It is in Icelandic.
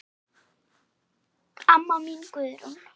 Amma mín Guðrún.